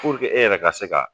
Puruke e yɛrɛ ka se ka